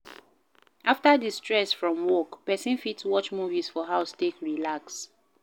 After the stress from work, person fit watch movies for house take relax